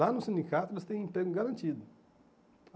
Lá no sindicato eles têm emprego garantido.